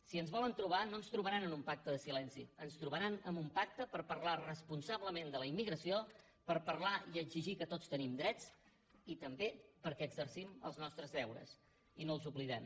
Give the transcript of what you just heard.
si ens volen trobar no ens trobaran en un pacte de silenci ens troba·ran en un pacte per parlar responsablement de la immi·gració per parlar i exigir que tots tenim drets i també perquè exercim els nostres deures i no els oblidem